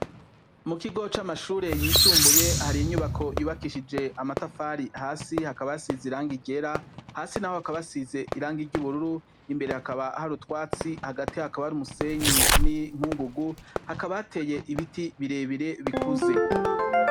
Mu kigo c'amashure yisumbuye hari inyubako yubakishije amatafari hasi hakaba hasize irangi ryera, hasi naho hakaba hasize irangi ry'ubururu, imbere hakaba utwatsi, hasi hakaba hari umusenyi n'inkungugu, hakaba hateye ibiti birebire bikuze.